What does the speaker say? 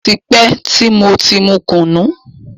Ó ti pẹ́ tí mo ti mu kùnù